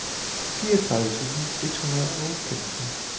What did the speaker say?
fireogtredive tusind et hundrede og femten